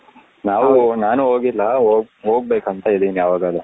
ನಾವು ನಾನು ಹೋಗಿಲ್ಲ ಹೋಗ್ ಹೋಗ್ಬೇಕು ಅಂತ ಇದೀನಿ ಯವಗದ್ರು .